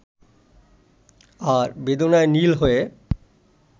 আর বেদনায় নীল হয়ে